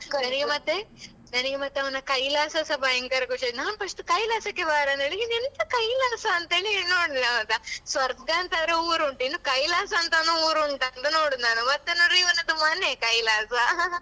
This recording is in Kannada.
ನನಗೆ ಮತ್ತೆ ನನಗೆ ಮತ್ತೆ ಅವನ ಕೈಲಾಸಸ ಭಯಂಕರ ಖುಷಿ ಆಯ್ತು ನಾನ್ first ಕೈಲಾಸಕ್ಕೆ ಬಾರಾ ಅಂತೇಳಿ ಇದು ಎಂತ ಕೈಲಾಸಂತ ಹೇಳಿ ನೋಡುದು ಹೌದಾ ಸ್ವರ್ಗ ಅಂತದ್ರೆ ಊರು ಉಂಟು ಇನ್ನು ಕೈಲಾಸ ಅಂತನು ಊರು ಉಂಟಾ ಅಂತ ನೋಡುದು ನಾನು ಮತ್ತೆ ನೋಡಿದ್ರೆ ಇವನದ್ದು ಮನೆ ಕೈಲಾಸ